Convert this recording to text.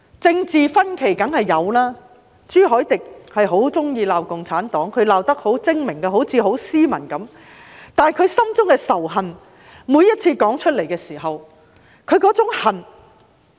政治分歧當然是有的，朱凱廸議員很喜歡罵共產黨，他罵得十分精明，看似十分斯文，但他每次說出來的時候，內心的那種仇恨......